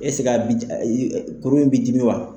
Ɛseke a b'i ii kunkolo b'i dimi wa ?